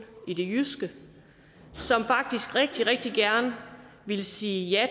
i det jyske som faktisk rigtig rigtig gerne ville sige ja